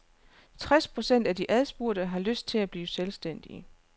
Tres procent af de adspurgte har lyst til at blive selvstændige.